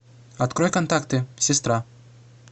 открой контакты сестра